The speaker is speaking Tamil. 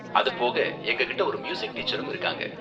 அது போக எங்ககிட்ட ஒரு மியூசிக் டீச்சரும் இருக்காங்க.